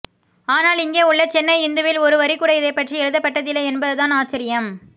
ஆனால் இங்கே உள்ள சென்னை இந்துவில் ஒரு வரிகூட இதைப்பற்றி எழுதப்பட்டதில்லை என்பதுதான் ஆச்சரியம்